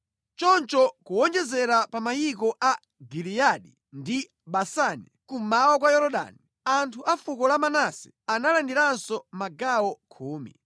Choncho kuwonjezera pa mayiko a Giliyadi ndi Basani kummawa kwa Yorodani, anthu a fuko la Manase analandiranso magawo khumi